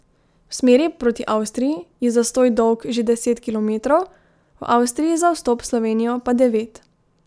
V smeri proti Avstriji je zastoj dolg že deset kilometrov, v Avstriji za vstop v Slovenijo pa devet.